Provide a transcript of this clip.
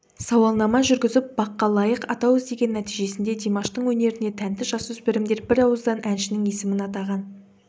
сауалнама жүргізіп баққа лайық атау іздеген нәтижесінде димаштың өнеріне тәнті жасөспірімдер бірауыздан әншінің есімін атаған